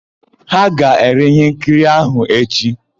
Ha ga-ere íhénkiri áhụ̀ echi.